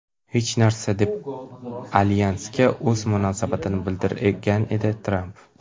Hech narsa”, deb alyansga o‘z munosabatini bildirgan edi Tramp.